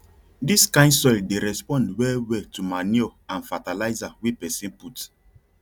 dis kain soil dey respond well well to manure and fertilizer wey person put